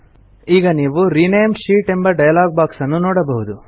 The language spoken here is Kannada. ಈಗ ನೀವು ರಿನೇಮ್ ಶೀಟ್ ಎಂಬ ಡೈಲಾಗ್ ಬಾಕ್ಸ್ ನ್ನು ನೋಡಬಹುದು